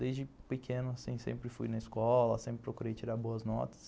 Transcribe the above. Desde pequeno sempre fui na escola, sempre procurei tirar boas notas